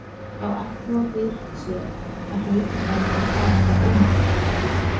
Þá ætluðu þeir sér að hlaupa fram og fanga einhyrninginn.